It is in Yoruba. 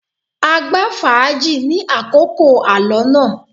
A gbá fàájì ni àkókò alọ náà.